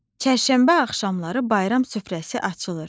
Çərşənbə axşamları bayram süfrəsi açılır.